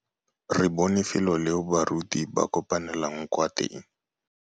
Re bone felô leo baruti ba kopanelang kwa teng.